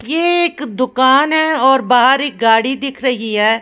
एक दुकान है और बाहर एक गाड़ी दिख रही है ।